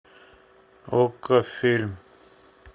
окко фильм